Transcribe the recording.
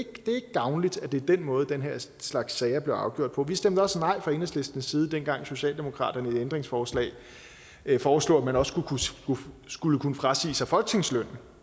gavnligt at det er den måde den her slags sager bliver afgjort på vi stemte også nej fra enhedslistens side dengang socialdemokratiet ændringsforslag foreslog at man også skulle kunne frasige sig folketingslønnen